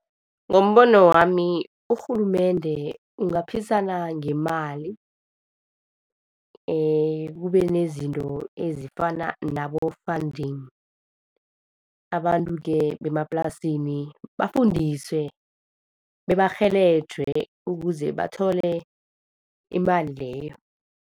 Ngombono wami urhulumende u ngaphikisana ngemali, ekubeni nezinto ezifana nabo-funding, abantu-ke bemaplasini bafundiswe bebarhelejwe ukuze bathole imali leyo.